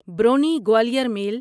برونی Gwalior میل